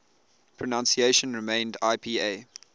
pronunciation remained ipa